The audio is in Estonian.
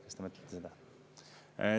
Kas te mõtlete seda?